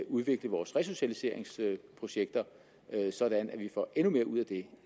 udvikle vores resocialiseringsprojekter sådan at vi får endnu mere ud af